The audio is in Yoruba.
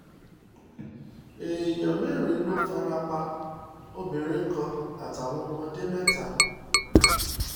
èèyàn mẹ́rin ló fara pa obìnrin kan àtàwọn ọmọdé mẹ́ta